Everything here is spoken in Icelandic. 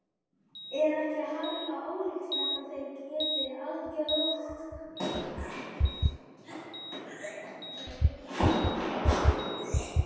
Er ekki harla ólíklegt að þeir geti algerlega sniðgengið hann?